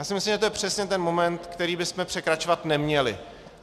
Já si myslím, že to je přesně ten moment, který bychom překračovat neměli.